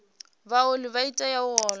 vhaoli vha tea u ola